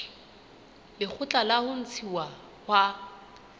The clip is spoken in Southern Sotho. lekgotla la ho ntshuwa ha